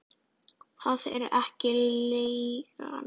Það er ekki leigan.